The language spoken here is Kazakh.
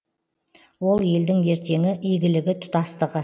ол елдің ертеңі игілігі тұтастығы